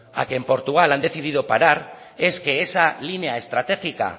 a que en portugal han decidido parar es que esa línea estratégica